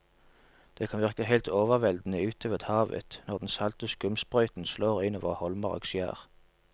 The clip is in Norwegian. Det kan virke helt overveldende ute ved havet når den salte skumsprøyten slår innover holmer og skjær.